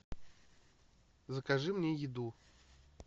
закажи мне еду